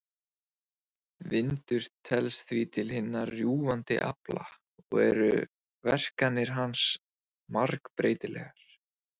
Vindur telst því til hinna rjúfandi afla og eru verkanir hans margbreytilegar.